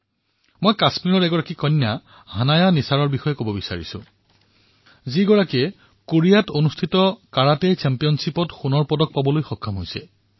মই কাশ্মীৰৰ এক কন্যা হানায়া নিসাৰৰ বিষয়ে কবলৈ ওলাইছোঁ যিয়ে কোৰিয়াত কাৰাটে চেম্পিয়নশ্বিপত সোণৰ পদক জয় কৰিছে